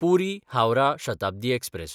Puri Howrah Shatabdi express